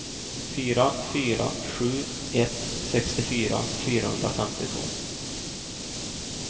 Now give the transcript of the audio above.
fyra fyra sju ett sextiofyra fyrahundrafemtiotvå